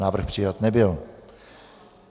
Návrh přijat nebyl.